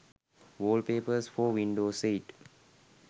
wallpapers for windows 8